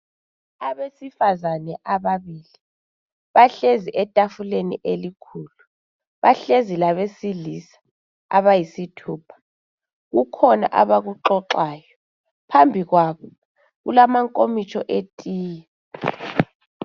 Abesifazane ababili bahlezi etafuleni elikhulu. Bahlezi labesilisa abayisithupha. Kukhona abakuxoxayo. Phambi kwabo kulamankomitsho etiye.